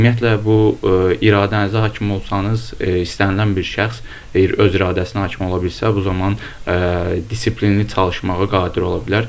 Ümumiyyətlə bu iradənizə hakim olsanız, istənilən bir şəxs öz iradəsinə hakim ola bilsə, bu zaman intizamlı çalışmağa qadir ola bilər.